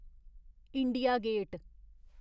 India gate